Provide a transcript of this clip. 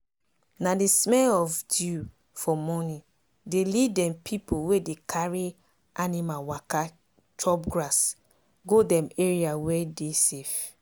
na the smell of dew for morning dey lead dem pipu wey dey carry animal waka chop grass go dem area wey dey safe.